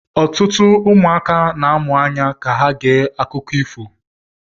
Ọtụtụ ụmụaka na-amụ anya ka ha gee akụkọ ifo